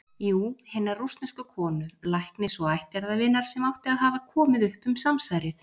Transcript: Jú- hinnar rússnesku konu, læknis og ættjarðarvinar, sem átti að hafa komið upp um samsærið.